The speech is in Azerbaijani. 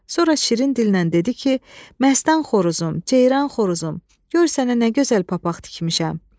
Sonra şirin dillə dedi ki, məstən xoruzum, ceyran xoruzum, gör sənə nə gözəl papaq tikmişəm.